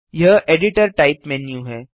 यह editor type menu है